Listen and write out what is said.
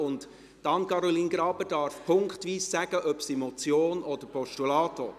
Darf Anne-Caroline Graber bei jedem Punkt sagen, ob sie eine Motion oder ein Postulat will?